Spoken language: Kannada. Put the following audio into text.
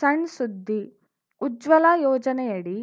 ಸಣ್‌ ಸುದ್ದಿ ಉಜ್ವಲ ಯೋಜನೆಯಡಿ